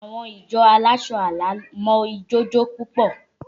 Àwọn ìjọ aláṣọ àlà mọ ijó jó púpọ̀